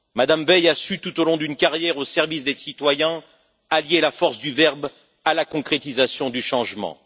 Mme Veil a su, tout au long d'une carrière au service des citoyens, allier la force du verbe à la concrétisation du changement.